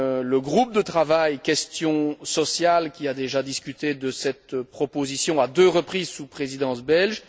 Le groupe de travail Questions sociales a déjà discuté de cette proposition à deux reprises sous la Présidence belge